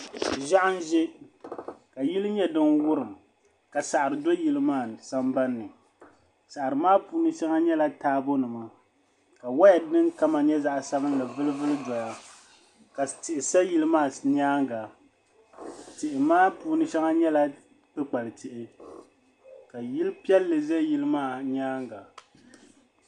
Ʒiɛɣu n ʒɛ ka yili nyɛ din wurim ka saɣari do yili maa sambanni saɣari maa puuni shɛŋa nyɛla taabo nima ka woya din kama nyɛ zaɣ sabinli vuli vuli doya ka tihi sa yili maa nyaanga tihi maa puuni shɛŋa nyɛla kpukpali tihi ka yili piɛlli ʒɛ yili maa nyaanga